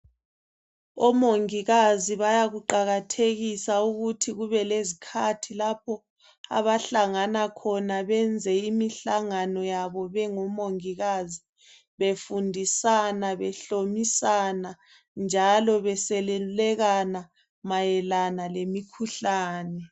Omongikazi bayakuqakathekisa ukuthi kube lezikhathi lapho abahlangana khona benze imihlangano yabo bengomongikazi befundisana, behlomisana njalo beselulekana mayelana ngemikhuhlani.